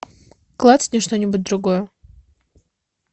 клацни что нибудь другое